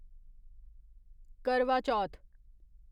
करवा चौथ